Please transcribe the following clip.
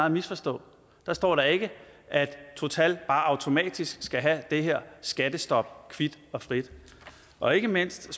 at misforstå der står da ikke at total bare automatisk skal have det her skattestop kvit og frit og ikke mindst